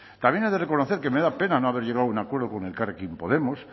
también he de reconocer que me da pena no haber llegado a un acuerdo con elkarrekin podemos